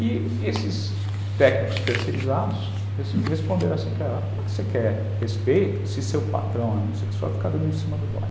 E esses técnicos terceirizados responderam assim para ela, como é que você quer respeito se seu patrão é homossexual, fica dando em cima do boy.